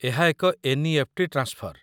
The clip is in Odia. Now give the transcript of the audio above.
ଏହା ଏକ ଏନ୍.ଇ.ଏଫ୍.ଟି. ଟ୍ରାନ୍ସଫର